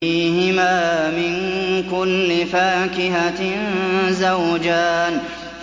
فِيهِمَا مِن كُلِّ فَاكِهَةٍ زَوْجَانِ